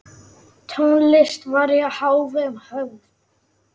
Tónlist var í hávegum höfð.